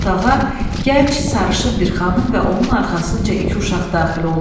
Otağa gənc, sarışın bir xanım və onun arxasınca iki uşaq daxil oldu.